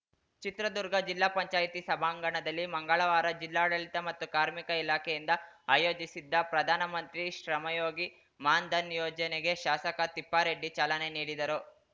ಚಿತ್ರದುರ್ಗ ಜಿಲ್ಲಾ ಪಂಚಾಯ್ತಿ ಸಭಾಂಗಣದಲ್ಲಿ ಮಂಗಳವಾರ ಜಿಲ್ಲಾಡಳಿತ ಮತ್ತು ಕಾರ್ಮಿಕ ಇಲಾಖೆಯಿಂದ ಆಯೋಜಿಸಿದ್ದ ಪ್ರಧಾನ ಮಂತ್ರಿ ಶ್ರಮಯೋಗಿ ಮಾನ್‌ಧನ್‌ ಯೋಜನೆಗೆ ಶಾಸಕ ತಿಪ್ಪಾರೆಡ್ಡಿ ಚಾಲನೆ ನೀಡಿದರು